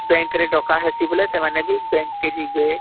bank କେ ଡକା ହେସି ବୋଲେ ସେମାନେ ବି bank କେ ଯିବେ